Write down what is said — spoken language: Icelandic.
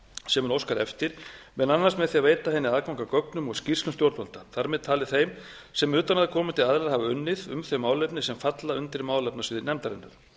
sem hún óskar eftir meðal annars með því að veita henni aðgang að gögnum og skýrslum stjórnvalda þar með talin þeim sem utanaðkomandi aðilar hafa unnið um þau málefni sem falla undir málefnasvið nefndarinnar